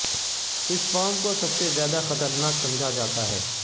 اس farm کو سب سے زیادہ خطرناک سمجھا جاتا ہے